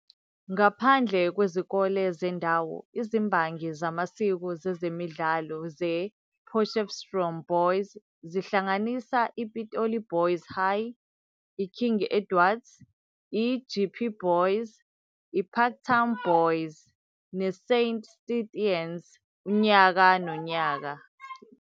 Ngaphandle kwezikole zendawo izimbangi zamasiko zezemidlalo zePotchefstroom Boys, zihlanganisa iPitoli Boys High, iKing Edwards, iJeppe Boys, iParktown Boys, neSaint Stithians unyaka nonyaka.